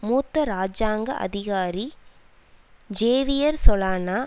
மூத்த இராஜாங்க அதிகாரி ஜேவியர் சொலானா